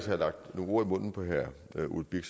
har lagt nogle ord i munden på herre ole birk